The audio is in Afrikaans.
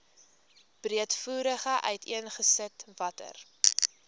breedvoerig uiteengesit watter